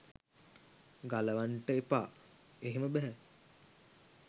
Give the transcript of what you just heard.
ගලවන්ට එපා." එහෙම බැහැ.